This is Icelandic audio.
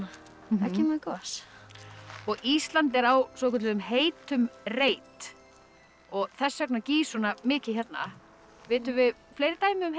það kemur gos er á svokölluðum heitum reit þess vegna gýs svona mikið hérna vitum við fleiri dæmi um heita